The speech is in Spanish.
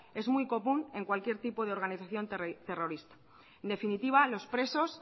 es muy común en cualquier tipo de organización terrorista en definitiva los presos